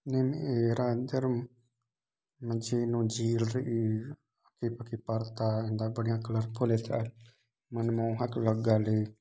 नेम ए रा जरम मजीनो झील इ री इब की परता ए बहुत बढ़िया कलरफुल इफ़ैक्ट मनमोहक लग गैल हई।